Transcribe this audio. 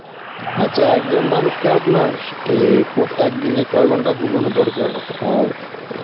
আচ্ছা একজন মানুষকে আপনার অ্যাঁ এই একদিনে কয় ঘন্টা ঘুমানো দরকার আর